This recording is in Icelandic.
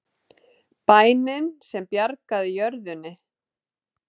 Bænin sem bjargaði jörðunni